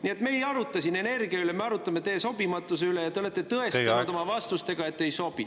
Nii et me ei aruta siin energia üle, me arutame teie sobimatuse üle, ja te olete tõestanud oma vastustega, et te ei sobi.